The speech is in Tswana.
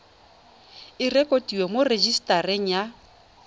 e rekotiwe mo rejisetareng ya